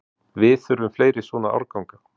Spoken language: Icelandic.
Við þurfum fleiri svona árganga